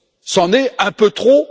C'en est un peu trop.